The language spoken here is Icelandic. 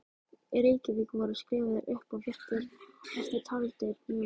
Í Reykjavík voru skrifaðir upp og virtir eftirtaldir munir